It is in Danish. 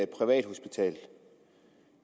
privathospital